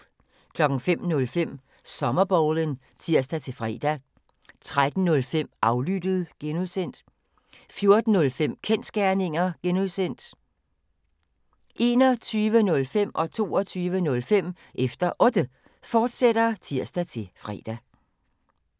05:05: Sommerbowlen (tir-fre) 13:05: Aflyttet (G) 14:05: Kensgerninger (G) 21:05: Efter Otte, fortsat (tir-fre) 22:05: Efter Otte, fortsat (tir-fre)